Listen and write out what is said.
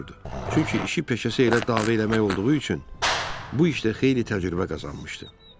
Çünki işi peşəsi elə dava eləmək olduğu üçün bu işdə xeyli təcrübə qazanmışdı.